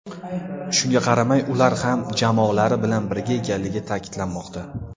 Shunga qaramay ular ham jamoalari bilan birga ekanligi ta’kidlanmoqda.